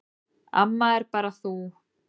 Amma er bara þú.